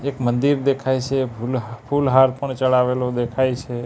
એક મંદિર દેખાય છે ફૂલ ફૂલ હાર પણ ચડાવેલું દેખાઈ છે.